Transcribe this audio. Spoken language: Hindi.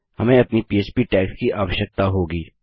हमें अपनी पह्प टैग्स की आवश्यकता होगी